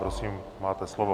Prosím, máte slovo.